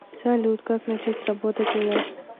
салют как начать работать у вас